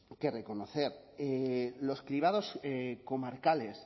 que reconocer los cribados comarcales